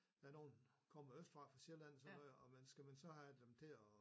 Der nogen der kommer østfra fra Sjælland sådan noget og man skal man så have dem til at